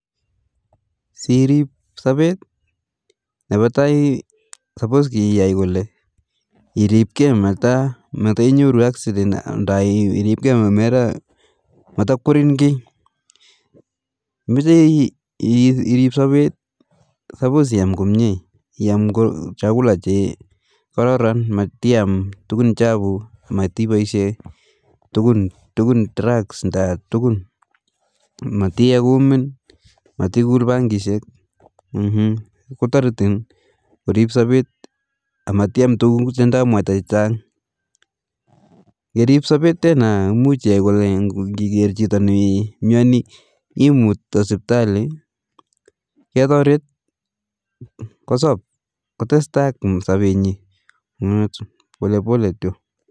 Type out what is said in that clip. Si iripi sapet nepa tai supos ia kole iripke mata inyoru accident nda iripkee mata kwerin kii, mechi irip sapet supos iam komye iam [cs[chakula che kororon matiam tukun chapu matipaishe tukun drugs nda tukun ,matie kumin matikul bangishek kotoriti korip sapet ak matiam tukuk che ndoi mwata chechang' ,kerip sapet tena much ia kole ngiker chito ne myani imut sipitali ketoret kosop kotes tai ak sape nyi pole pole kityo